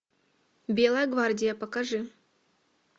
белая гвардия покажи